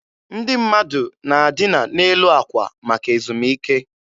Ndị mmadụ na-adịna n'elu akwa maka ezumike.